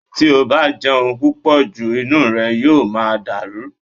Tí o bá jẹun púpọ̀ jù inú rẹ yóò máa dàrú